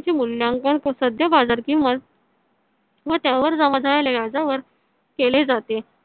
चे मूल्यांकन व सध्या बाजार किंमत व त्यावर जमा झालेल्या व्याजावर केले जाते